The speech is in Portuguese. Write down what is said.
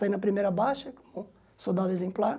Saí na primeira baixa, soldado exemplar.